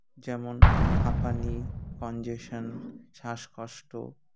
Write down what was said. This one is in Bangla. যেমন হাঁপানি congestion শ্বাসকষ্ট